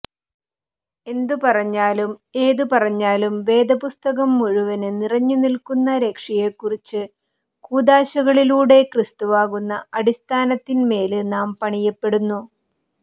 എന്തു പറഞ്ഞാലും ഏതു പറഞ്ഞാലും വേദപുസ്തകം മുഴുവന് നിറഞ്ഞുനില്ക്കുന്ന രക്ഷയെക്കുറിച്ച് കൂദാശകളിലൂടെ ക്രിസ്തുവാകുന്ന അടിസ്ഥാനത്തിന്മേല് നാം പണിയപ്പെടുന്നു